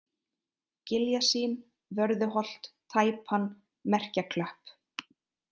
Giljasýn, Vörðuholt, Tæpan, Merkjaklöpp